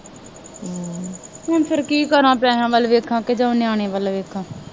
ਹੁਣ ਫੇਰ ਕੀ ਕਰਾਂ, ਪੈਸਿਆਂ ਵੱਲ ਵੇਖਾਂ ਕਿ ਜਾਂ ਨਿਆਣਿਆਂ ਵੱਲ ਵੇਖਾਂ